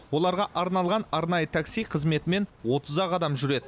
оларға арналған арнайы такси қызметімен отыз ақ адам жүреді